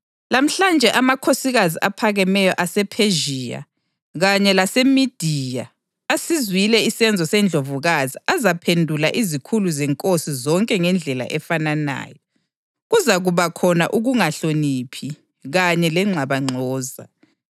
Lamhlanje amakhosikazi aphakemeyo asePhezhiya kanye laseMediya asizwileyo isenzo seNdlovukazi azaphendula izikhulu zenkosi zonke ngendlela efananayo. Kuzakuba khona ukungahloniphi kanye lengxabangxoza.